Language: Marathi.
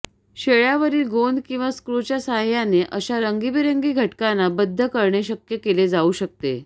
शेळयावरील गोंद किंवा स्क्रूच्या साहाय्याने अशा रंगीबेरंगी घटकांना बद्ध करणे शक्य केले जाऊ शकते